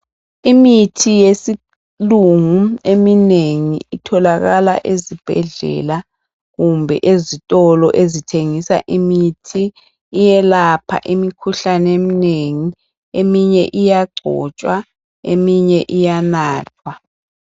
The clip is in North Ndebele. Imithi yesilungu eminengi itholakala ezibhedlela kumbe ezitolo ezithengisa imithi, iyelapha imikhuhlane eminengi. Eminye iyagcotshwa eminye iyanathwa.